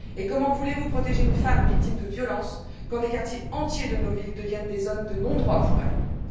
Comment voulez vous protéger une femme victime de violences quand des quartiers entiers de nos villes deviennent des zones de non droit pour les femmes?